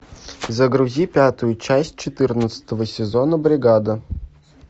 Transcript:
загрузи пятую часть четырнадцатого сезона бригада